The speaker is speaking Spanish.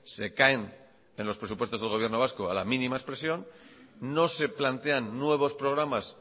se caen en los presupuestos del gobierno vasco a la mínima expresión no se plantean nuevos programas